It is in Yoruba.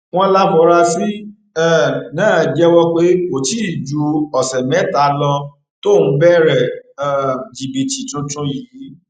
wọn láforasí um náà jẹwọ pé kò tí ì ju ọsẹ mẹta lọ tóun bẹrẹ um jìbìtì tuntun yìí